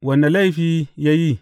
Wane laifi ya yi?